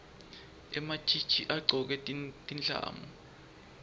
ematjitji agcoke tindlamu